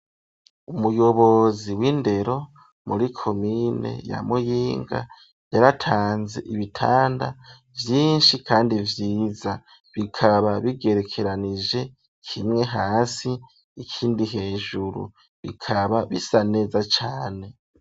Umuyobozi w'indero muri komine ya Muyinga yaratanze ibitanda vyishi kandi vyiza bikaba bigerekeranije kimwe hasi ikindi hejuru bikaba bisa neza cane.